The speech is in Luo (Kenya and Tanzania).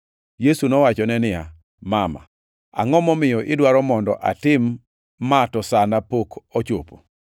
Yesu nowachone niya, “Mama, angʼo momiyo idwaro mondo atim ma to sana pok ochopo?”